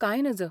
कांय नज .